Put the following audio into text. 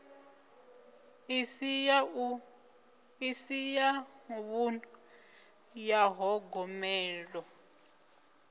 isi ya vhunḓu ya ṱhogomelo